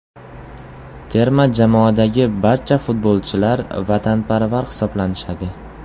Terma jamoadagi barcha futbolchilar vatanparvar hisoblanishadi.